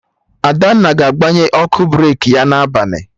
Adanna ga-agbanye ọkụ breki ya na abalị